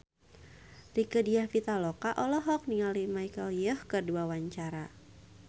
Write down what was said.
Rieke Diah Pitaloka olohok ningali Michelle Yeoh keur diwawancara